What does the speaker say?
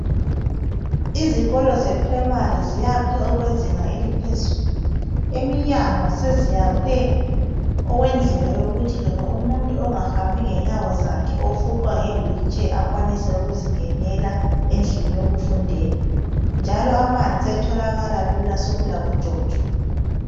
Izikolo ze primary ziyakhwe okwezinga eliphezulu. Emnyango seziyakhwe okwendlela yokuthi loba umuntu ongahambi ngenyawo zakhe, ofuqwa nge wheelchair akwanise ukuzingenela endlini yokufundela. Njalo amanzi asetholakala lula sekulabojojo.